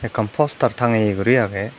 ekkan poster tangeye guri agey.